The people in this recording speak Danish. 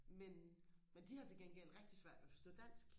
men men de har til gengæld rigtig svært ved og forstå dansk